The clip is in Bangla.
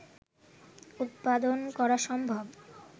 উৎপাদন করা সম্ভব